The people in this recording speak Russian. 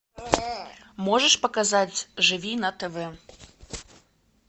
можешь показать живи на тв